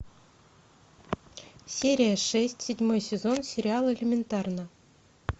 серия шесть седьмой сезон сериала элементарно